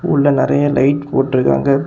உள்ள நெறய லைட் போட்ருக்காங்க.